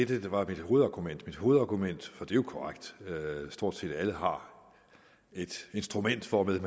det der var mit hovedargument mit hovedargument og er jo korrekt at stort set alle har et instrument hvormed